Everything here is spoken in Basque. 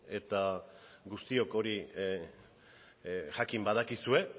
eta guztiok hori jakin badakizue